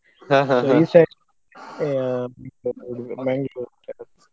.